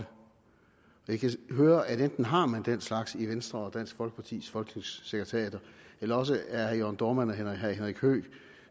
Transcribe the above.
jeg kan høre at enten har man den slags i venstres og dansk folkepartis folketingssekretariater eller også er herre jørn dohrmann og herre henrik høegh